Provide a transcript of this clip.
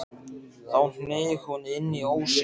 Þá hneig hún inn í ósinn.